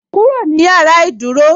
"Kúrò ní yàrá ìdúró"